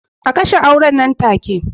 A kashe auren nan take